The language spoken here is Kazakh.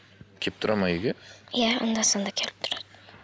келіп тұрады ма үйге иә анда санда келіп тұрады